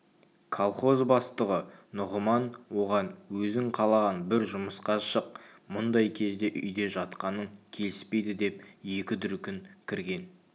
колхоз бастығы нұғыман оған өзің қалаған бір жұмысқа шық мұндай кезде үйде жатқаның келіспейді деп екі дүркін кірген